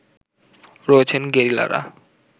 রয়েছেন গেরিলারা